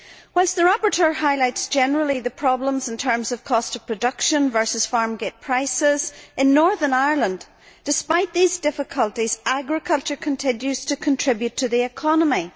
Whilst the rapporteur highlights generally the problems in terms of cost of production versus farmgate prices, in Northern Ireland despite these difficulties agriculture continues to contribute to the economy.